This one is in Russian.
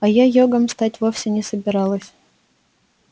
а я йогом стать вовсе не собиралась